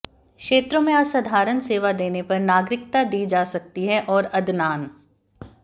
क्षेत्रों में असाधारण सेवा देने पर नागरिकता दी जा सकती है और अदनान